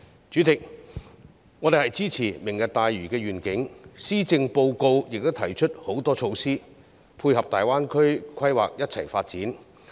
主席，我們支持"明日大嶼願景"，施政報告亦提出很多措施，配合大灣區規劃共同發展。